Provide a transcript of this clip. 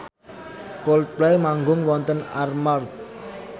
Coldplay manggung wonten Armargh